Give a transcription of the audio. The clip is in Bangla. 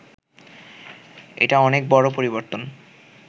এটা অনেক বড় পরিবর্তন